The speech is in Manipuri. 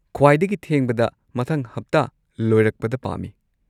ꯈ꯭ꯋꯥꯏꯗꯒꯤ ꯊꯦꯡꯕꯗ ꯃꯊꯪ ꯍꯞꯇꯥ ꯂꯣꯏꯔꯛꯄꯗ ꯄꯥꯝꯃꯤ꯫